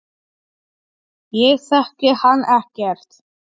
Ég þekki hann ekkert.